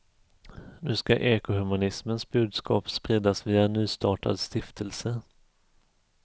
Nu ska ekohumanismens budskap spridas via en nystartad stiftelse.